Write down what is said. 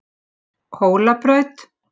Hólabraut